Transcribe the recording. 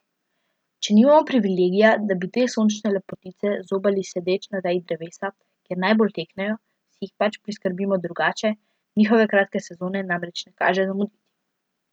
Če nimamo privilegija, da bi te sočne lepotice zobali sedeč na veji drevesa, kjer najbolj teknejo, si jih pač priskrbimo drugače, njihove kratke sezone namreč ne kaže zamuditi.